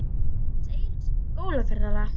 Við fórum aðeins einu sinni í skólaferðalag.